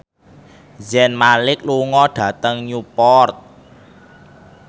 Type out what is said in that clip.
Zayn Malik lunga dhateng Newport